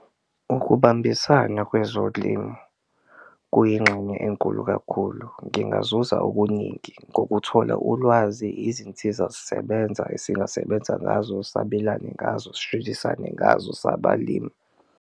Ukubambisana kwezolimo kuyingxenye enkulu kakhulu ngingazuza okuningi ngokuthola ulwazi, izinsiza zisebenza esingasebenza ngazo, sabelane ngazo, ngazo sabalimi.